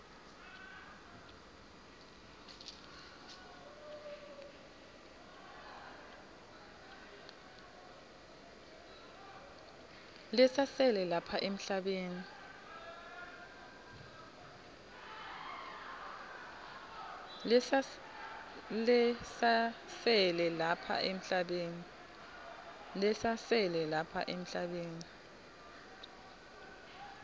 lesasele lapha emhlabeni